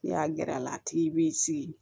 N'i y'a gɛr'a la a tigi b'i sigi